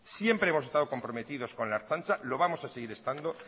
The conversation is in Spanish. siempre hemos estado comprometidos con la ertzaintza lo vamos a seguir estando